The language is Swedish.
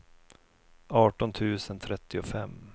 arton tusen trettiofem